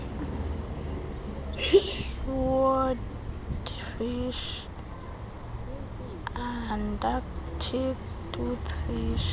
swordfish antarctic toothfish